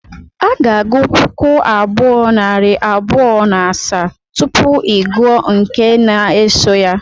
A ga-agụ puku abụọ, narị abụọ na asaa, tupu ị gụọ nke n-asọ ya